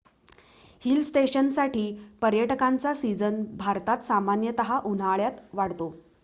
hill स्टेशन्ससाठी पर्यटकांचा season भारतात सामान्यतः उन्हाळ्यात वाढतो